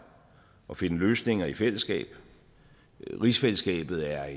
og finde løsninger i fællesskab rigsfællesskabet er